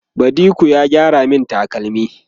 badiko ya gyara min takalmi